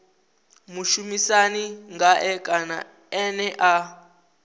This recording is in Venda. mushumisani ngae kana ene a